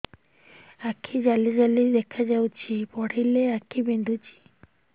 ଆଖି ଜାଲି ଜାଲି ଦେଖାଯାଉଛି ପଢିଲେ ଆଖି ବିନ୍ଧୁଛି